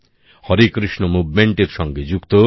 হরেকৃষ্ণ আন্দোলনের সঙ্গে যুক্ত